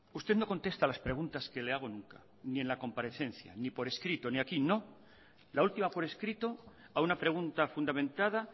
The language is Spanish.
usted no contesta a las pregunta que le hago nunca ni en la comparecencia ni por escrito ni aquí la última por escrito a una pregunta fundamentada